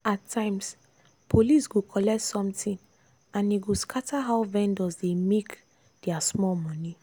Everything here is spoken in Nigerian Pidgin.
at times police go collect something and e go scatter how vendors dey make their small money.